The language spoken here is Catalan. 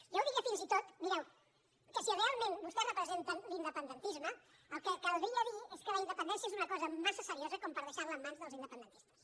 jo diria fins i tot mireu que si realment vostès representen l’independentisme el que caldria dir és que la independència és una cosa massa seriosa per deixar la en mans dels independentistes